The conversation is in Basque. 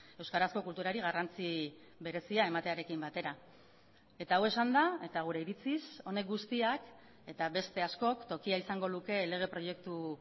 euskarazko kulturari garrantzi berezia ematearekin batera eta hau esanda eta gure iritziz honek guztiak eta beste askok tokia izango luke lege proiektu